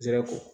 Nsɛrɛ ko